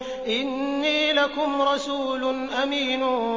إِنِّي لَكُمْ رَسُولٌ أَمِينٌ